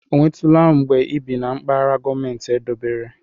Ọ nwetụla mgbe ị bi na mpaghara gọọmentị edobere?